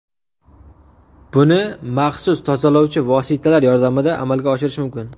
Buni maxsus tozalovchi vositalar yordamida amalga oshirish mumkin.